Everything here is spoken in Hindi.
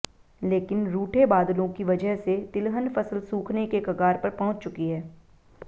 लेकिन रूठे बादलों की वजह से तिलहन फसल सूखने के कगार पर पहुंच चुकी है